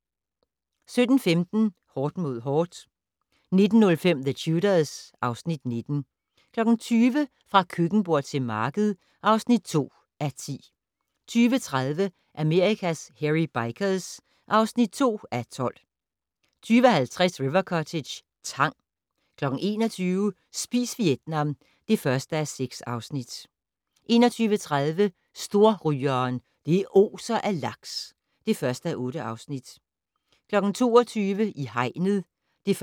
17:15: Hårdt mod hårdt 19:05: The Tudors (Afs. 19) 20:00: Fra køkkenbord til marked (2:10) 20:30: Amerikas Hairy Bikers (2:12) 20:50: River Cottage - tang 21:00: Spis Vietnam (1:6) 21:30: Storrygeren - det oser af laks (1:8) 22:00: I hegnet (1:6)